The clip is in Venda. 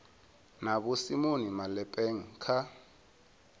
na vho simon malepeng kha